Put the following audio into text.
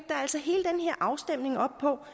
afstemning op på